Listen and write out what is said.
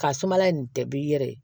Ka sumala in tɛ bɛɛ i yɛrɛ ye